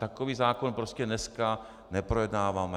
Takový zákon prostě dnes neprojednáváme.